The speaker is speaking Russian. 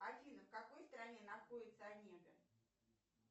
афина в какой стране находится омега